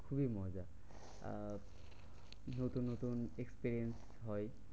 খুবই মজা। আর নতুন নতুন experience হয়।